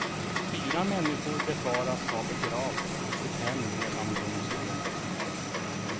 Fyra människor befaras ha begravts i sitt hem medan de sov.